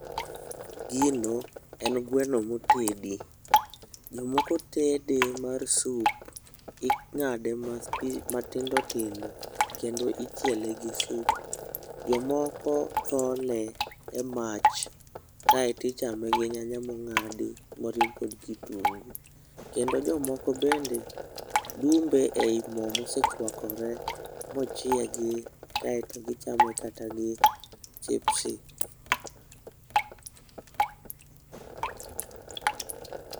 Gino en gweno motedi. Jomoko tede mar sup, ing'ade mathi matindo tindo kendo ichiele gi sup. Jomoko thole e mach, kaeto ichame gi nyanya mo ng'adi moriw kod kitungu. Kendo jomoko bende dumbe ei mo mosechwakore mochiegi, kaeto gichame kata gi chipsi.